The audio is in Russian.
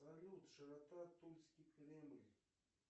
салют широта тульский кремль